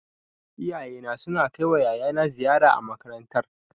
Iyayena suna kai wa yayana ziyara a makarantar